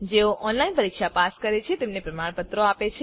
જેઓ ઓનલાઈન પરીક્ષા પાસ કરે છે તેમને પ્રમાણપત્રો આપે છે